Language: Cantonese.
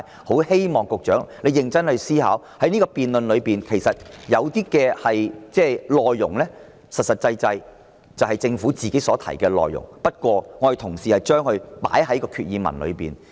我希望局長認真思考，我的修訂議案的內容其實就是政府曾提出的內容，我只是提出將之納入決議案之內而已。